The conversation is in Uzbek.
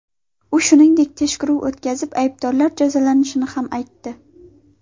U shuningdek, tekshiruv o‘tkazilib, aybdorlar jazolanishini ham aytdi.